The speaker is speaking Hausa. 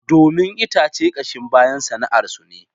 Domin itace kashin bayan sana'arsu ne